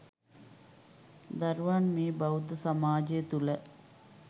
දරුවන් මේ බෞද්ධ සමාජය තුළ